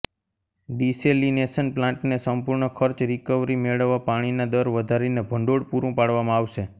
desalination પ્લાન્ટને સંપૂર્ણ ખર્ચ રિકવરી મેળવવા પાણીના દર વધારીને ભંડોળ પૂરું પાડવામાં આવશે